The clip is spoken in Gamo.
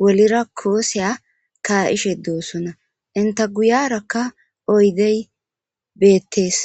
wolera kuwasiya ka'ishe doosona enta guyerakka oydey bettees .